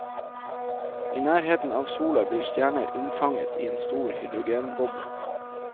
I nærheten av sola blir stjerner unnfanget i en stor hydrogenboble.